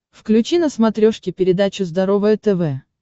включи на смотрешке передачу здоровое тв